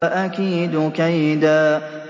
وَأَكِيدُ كَيْدًا